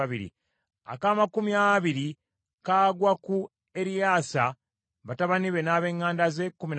ak’amakumi abiri mu akamu kagwa ku Kosiri, batabani be, n’ab’eŋŋanda ze, kkumi na babiri;